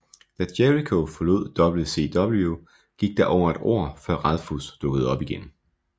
Da Jericho forlod WCW gik der over et år før Ralphus dukkede op igen